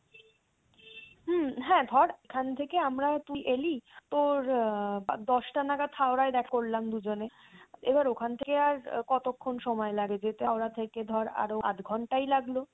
হুম হ্যাঁ ধর এখান থেকে আমরা তুই এলি তোর দশটা নাগাদ হাওড়ায় দেখা করলাম দুজনে এবার ওখান থেকে আর কতক্ষণ সময় লাগে যেতে হাওড়া থেকে ধর আরও আধ ঘন্টাই লাগলো।